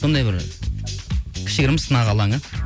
сондай бір кішігірім сынақ алаңы